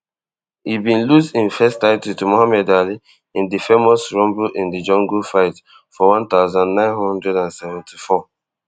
e bin lose im first title to muhammad ali in di famous rumble in di jungle fight for one thousand, nine hundred and seventy-four